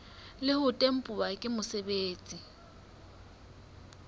le ho tempuwa ke mosebeletsi